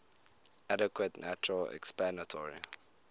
adequate natural explanatory